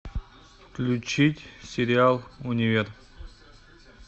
включить сериал универ